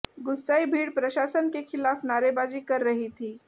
गुस्साई भीड़ प्रशासन के खिलाफ नारेबाजी कर रही थी